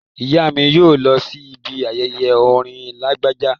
Ìyá mi yóò lọ sí ibi ayẹyẹ orin Lágbájá